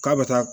K'a bɛ taa